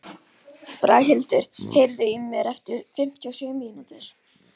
Braghildur, heyrðu í mér eftir fimmtíu og sjö mínútur.